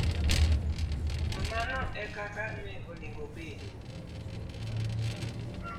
To mano e kaka onego obed!